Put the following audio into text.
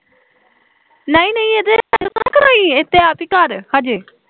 ਨਾ ਨਾ ਇਹ ਤੇ ਆਪੀ ਘਰ ਅਜੇ